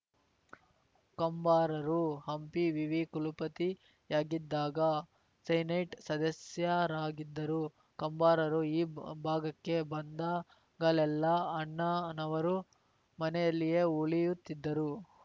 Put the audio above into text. ಕಂಬಾರರು ಹಂಪಿ ವಿವಿ ಕುಲಪತಿಯಾಗಿದ್ದಾಗ ಸೆನೆಟ್‌ ಸದಸ್ಯರಾಗಿದ್ದರು ಕಂಬಾರರು ಈ ಭಾಗಕ್ಕೆ ಬಂದಾಗಲೆಲ್ಲ ಅಣ್ಣನವರು ಮನೆಯಲ್ಲಿಯೇ ಉಳಿಯುತ್ತಿದ್ದರು